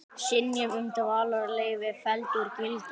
Synjun um dvalarleyfi felld úr gildi